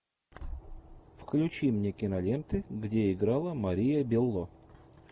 включи мне киноленты где играла мария белло